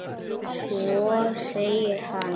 Svo segir hann.